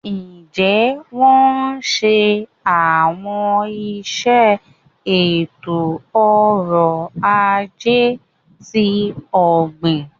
Njẹ wọn ṣe awọn iṣẹ eto-ọrọ ajé ti ogbin?